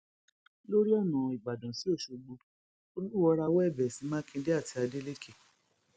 lórí ọnà ìbàdàn sí ọṣọgbó olúwọọ rawọ ẹbẹ sí mákindè àti adeleke